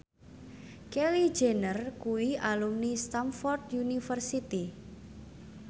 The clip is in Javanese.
Kylie Jenner kuwi alumni Stamford University